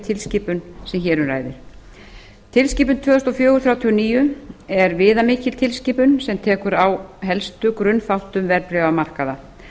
tilskipun sem hér um ræðir tilskipun númer tvö þúsund og fjögur þrjátíu og níu er viðamikil tilskipun sem tekur á helstu grunnþáttum verðbréfamarkaða